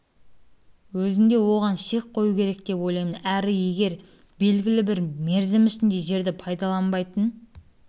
өзінде оған шек қою керек деп ойлаймын әрі егер белгілі бір мерзім ішінде жерді пайдаланбайтын